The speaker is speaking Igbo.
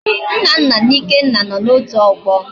Nnanna na Ikenna no na otu ogbo